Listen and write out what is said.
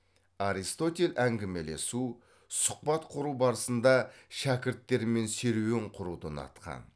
аристотель әңгімелесу сұхбат құру барысында шәкірттерімен серуен құруды ұнатқан